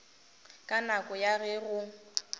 ka nako ya ge go